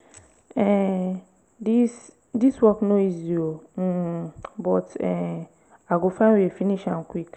um dis dis work no easy o um but um i go find way finish am quick.